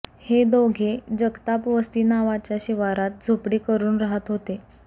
हे दोघे जगताप वस्ती नावाच्या शिवारात झोपडी करून राहत होते